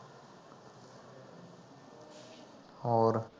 ਹੋਰ